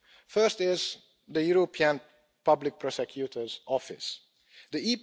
First is the European Public Prosecutor's Office The